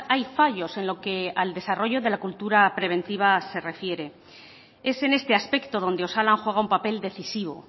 hay fallos en lo que al desarrollo de la cultura preventiva se refiere es en este aspecto donde osalan juega un papel decisivo